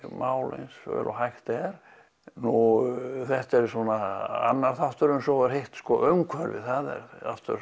mál og hægt er þetta er annar þátturinn en svo er hitt umhverfið það